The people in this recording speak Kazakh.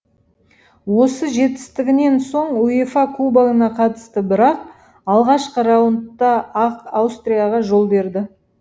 осы жетістігінен соң уефа кубогына қатысты бірақ алғашқы раундта ақ аустрияға жол берді